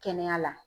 Kɛnɛya la